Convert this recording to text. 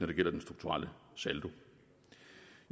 det gælder den strukturelle saldo